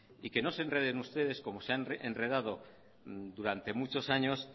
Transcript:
y que no se enreden ustedes como se han enredado durante muchos años